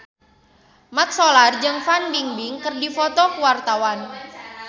Mat Solar jeung Fan Bingbing keur dipoto ku wartawan